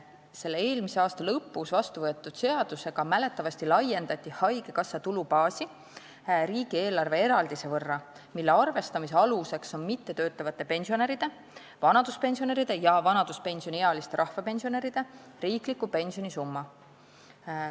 Selle eelmise aasta lõpus vastu võetud seadusega mäletatavasti laiendati haigekassa tulubaasi riigieelarve eraldise võrra, mille arvestamise aluseks on mittetöötavate pensionäride, vanaduspensionäride ja vanaduspensioniealiste rahvapensionäride riikliku pensioni summa.